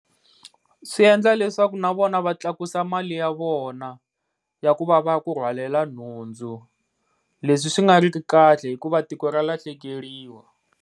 Swi endla leswaku na vona va tlakusa mali ya vona ya ku va va kurhwalela nhundzu, leswi swi nga ri ku kahle hikuva tiko ra lahlekeriwa.